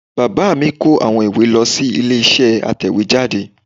Bàbá mi kó àwọn ìwé lọ sí ilé isé atẹ̀wéjáde